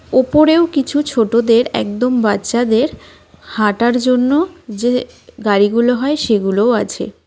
উপরেও কিছু ছোটদের একদম বাচ্চাদের হাঁটার জন্য যে গাড়িগুলো হয় সেগুলোও আছে.